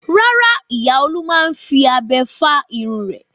Rárá, ìyá Olú máa ń fi abẹ fá irun rẹ̀.